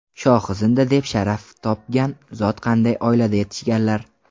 Shohi Zinda deb sharaf topgan zot qanday oilada yetishganlar?